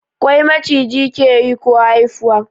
Kwai Maciji ke yi ko haifuwa?